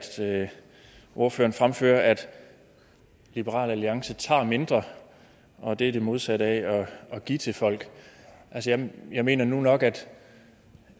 ordføreren fremfører at liberal alliance tager mindre og at det er det modsatte af at give til folk jeg mener nu nok